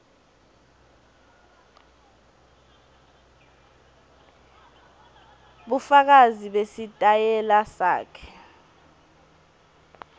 bufakazi besitayela sakhe